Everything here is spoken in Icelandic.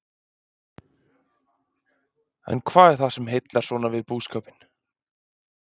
En hvað er það sem heillar svona við búskapinn?